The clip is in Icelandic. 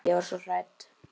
Ég var svo hrædd.